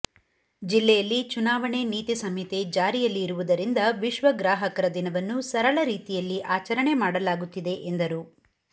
ಜಿಲ್ಲೆಯಲ್ಲಿ ಚುನಾವಣೆ ನೀತಿ ಸಂಹಿತೆ ಜಾರಿಯಲ್ಲಿ ಇರುವದರಿಂದ ವಿಶ್ವ ಗ್ರಾಹಕರ ದಿನವನ್ನು ಸರಳ ರೀತಿಯಲ್ಲಿ ಆಚರಣೆ ಮಾಡಲಾಗುತ್ತಿದೆ ಎಂದರು